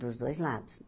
Dos dois lados.